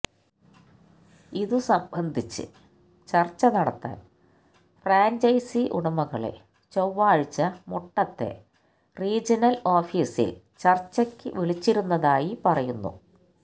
ഇതുസംബന്ധിച്ച് ചര്ച്ച നടത്താന് ഫ്രാഞ്ചൈസി ഉടമകളെ ചൊവ്വാഴ്ച മുട്ടത്തെ റീജനല് ഓഫീസില് ചര്ച്ചയ്ക്ക് വിളിച്ചിരുന്നതായി പറയുന്നു